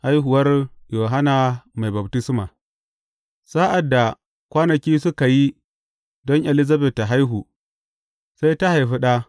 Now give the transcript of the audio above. Haihuwar Yohanna Mai Baftisma Sa’ad da kwanaki suka yi don Elizabet ta haihu, sai ta haifi ɗa.